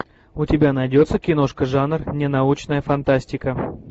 у тебя найдется киношка жанр ненаучная фантастика